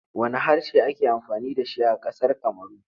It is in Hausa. Wanne harshe ake amfani da shi a ƙasar Kamaru?